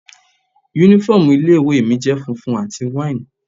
Uniform ilé ìwé mi jẹ́ funfun àti wine.